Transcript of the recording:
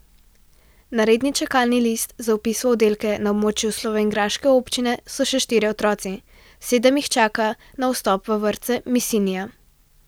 Na redni čakalni listi za vpis v oddelke na območju slovenjgraške občine so še štirje otroci, sedem jih čaka na vstop v vrtce Mislinja.